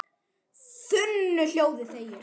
þunnu hljóði þegir